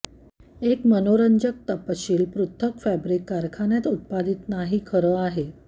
एक मनोरंजक तपशील पृथक् फॅब्रिक कारखान्यात उत्पादित नाही खरं आहे